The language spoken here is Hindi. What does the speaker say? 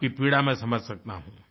आपकी पीड़ा मैं समझ सकता हूँ